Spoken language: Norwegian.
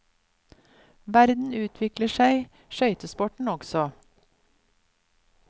Verden utvikler seg, skøytesporten også.